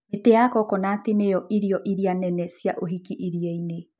Mĩtĩ ya coconut nĩ yo irio iria nene cia ũhiki iria-inĩ.